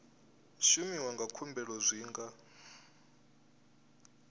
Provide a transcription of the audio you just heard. shumiwa na khumbelo zwi nga